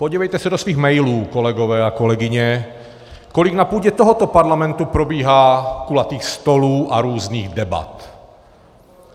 Podívejte se do svých mailů, kolegové a kolegyně, kolik na půdě tohoto parlamentu probíhá kulatých stolů a různých debat.